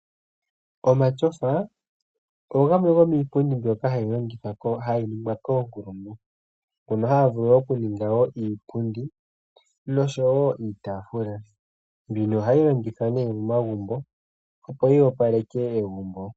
Omatyofa ogo gamwe gomiipundi mbyoka ha yiningwa koonkulungu, ndhono ha dhivulu oku ninga iipundi nosho wo iitaafula, mbika oha yi longithwa momagumbo opo yi yopaleke egumbo.